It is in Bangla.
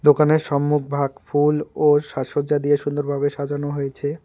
দোকানের সম্মুখভাগ ফুল ও সাজসজ্জা দিয়ে সুন্দর ভাবে সাজানো হয়েছে।